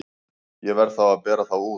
Ég verð þá að bera þá út.